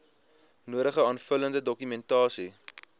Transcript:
nodige aanvullende dokumentasie